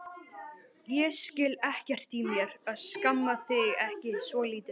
Ég skil ekkert í mér að skamma þig ekki svolítið.